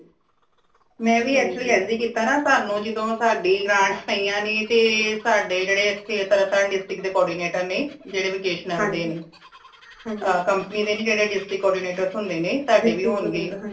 ਮੈ ਵੀ ਇਸਲਈ ਇੰਜ ਹੀ ਕੀਤਾ ਨਾ ਸਾਨੂ ਜਿਦੋ ਸਾੜੀ grants ਪਾਇਆ ਨੇ ਤੇ ਸਾੜੇ ਜੇੜੇ ਇਥੇ ਤਰਨਤਾਰਨ district ਦੇ coordinator ਨੇ ਜੇੜੇ vocational ਦੇ ਨੇ company ਦੇ ਨਈ ਜੇੜੇ district coordinators ਹੁੰਦੇ ਨੇ ਤੁਆਡੇ ਵੀ ਹੋਣਗੇ